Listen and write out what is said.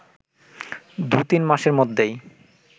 দু-তিন মাসের মধ্যেই